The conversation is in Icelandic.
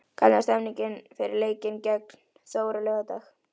Hvernig er stemningin fyrir leikinn gegn Þór á laugardag?